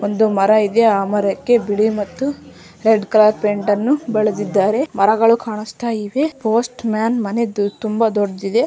ಒಂದು ಮರ ಇದೆ ಆ ಮರಕ್ಕೆ ಬಿಳಿ ಮತ್ತು ರೆಡ್ ಕಲರ್ ಪೈಂಟನ್ನು ಬಲದಿದ್ದಾರೆ ಮರಗಳು ಕಾಣ್ಸ್ತ ಇದೆ ಪೋಸ್ಟ್ಮನ್ ಮನೆ ತುಂಬ ದೊಡ್ಡದಿದೆ.